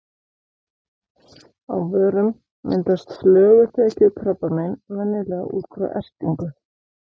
Á vörum myndast flöguþekjukrabbamein venjulega út frá ertingu.